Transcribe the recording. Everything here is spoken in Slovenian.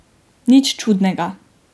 Nič čudnega.